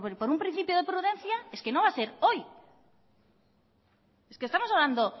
por un principio de prudencia es que no va a ser hoy es que estamos hablando